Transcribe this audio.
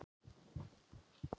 Öllu hann undi ár og síð.